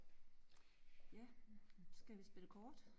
Ja men skal vi spille kort?